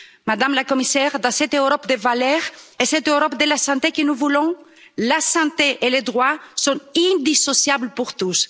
Madame la Commissaire, dans cette Europe des valeurs et cette Europe de la santé que nous voulons, la santé et les droits sont indissociables pour tous.